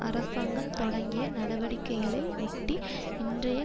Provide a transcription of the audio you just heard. அரசாங்கம் தொடங்கிய நடவடிக்கைகளை ஒட்டி இன்றைய